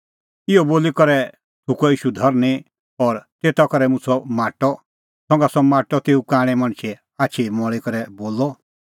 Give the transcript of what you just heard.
इहअ बोली करै थुकअ ईशू धरनीं और तेता करै मुछ़अ माटअ संघा सह माटअ तेऊ कांणै मणछे आछी मल़ी करै बोलअ